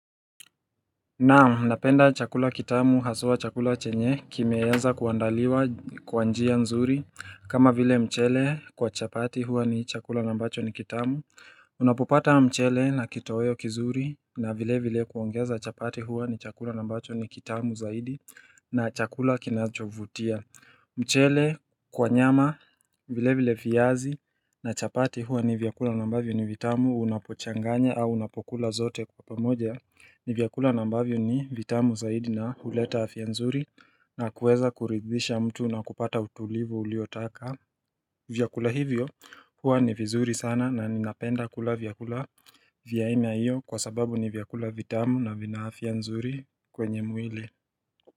Naam napenda chakula kitamu hasua chakula chenye kimeenza kuandaliwa kwanjia nzuri kama vile mchele kwa chapati huwa ni chakula nambacho ni kitamu unapopata mchele na kitoyo kizuri na vile vile kuongeza chapati huwa ni chakula nambacho ni kitamu zaidi na chakula kinachovutia mchele kwa nyama vile vile fiyazi na chapati huwa ni vyakula nambavyo ni vitamu unapochanganya au unapokula zote kwa pamoja ni vyakula nambavyo ni vitamu zaidi na huleta afia nzuri na kuweza kuridhisha mtu na kupata utulivu uliotaka vyakula hivyo huwa ni vizuri sana na ninapenda kula vyakula vya ainia iyo kwa sababu ni vyakula vitamu na vina afia nzuri kwenye mwile.